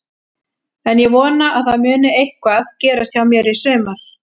En ég vona að það muni eitthvað gerast hjá mér í sumar.